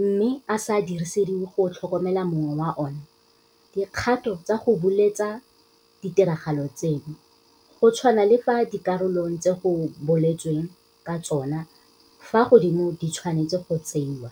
mme a sa dirisediwe go tlhokomela mong wa ona, dikgato tsa go buletsa ditiragalo tseno go tshwana le fa dikarolong tse go boletsweng ka tsona fa godimo di tshwanetswe go tsewa,"